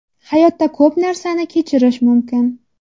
Hayotda ko‘p narsani kechirish mumkin.